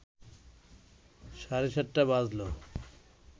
সাড়ে সাতটা বাজলো